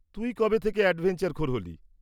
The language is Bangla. তুই কবে থেকে অ্যাডভেঞ্চারখোর হলি?